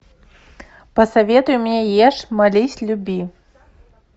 посоветуй мне ешь молись люби